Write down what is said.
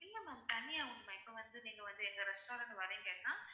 இல்ல ma'am தனியாக உண்டு ma'am இப்போ வந்து நீங்க வந்து எங்க restaurant க்கு வர்றீங்கன்னா